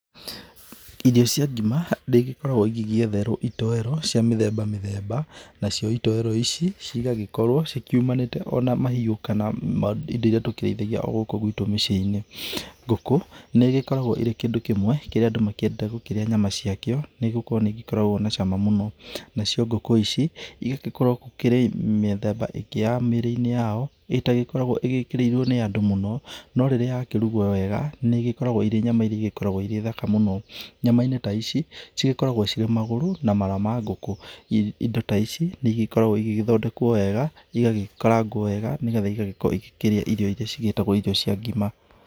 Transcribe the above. Irio cia ngima nĩ igĩkoragwo ĩgĩgĩetherwo itoero cia mĩthemba mĩthemba. Nacio itoero ici cigagĩkorwo ci kĩũmanĩte ona mahĩũ, kana indo iria tũkĩreithagia o gũkũ gwĩtũ mĩciĩ-inĩ. Ngũkũ nĩ ĩgĩkoragwo ĩrĩ kĩndũ kĩmwe kĩrĩa andũ makĩendete kũrĩa nyama cia kĩo, nĩgũkorwo nĩ ĩgĩkoragwo na cama mũno. Nacio ngũkũ ici, igagĩkorwo gũkĩrĩ mĩthemba ĩngĩ ya mĩrĩ-inĩ yao ĩtakoragwo ĩkĩrĩirwo nĩ andũ mũno, no rĩrĩa ya kĩrũgwo wega nĩ ĩgĩkoragwo irĩ nyama irĩa igĩkoragwo irĩthaka mũno. Nyama-inĩ ta ici cigĩkoragwo cirĩ magũrũ, na mara ma ngũkũ. Indo ta ici nĩ igĩkoragwo igĩgĩthondekwo wega, igagĩkarangwo wega, nĩgetha igagĩkorwo igĩkĩrĩa irio iria ciĩtagwo cia ngima.